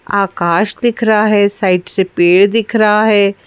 आकाश दिख रहा है साइड से पेड़ दिख रहा है।